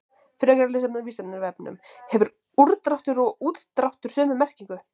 Frekara lesefni á Vísindavefnum: Hefur úrdráttur og útdráttur sömu merkingu?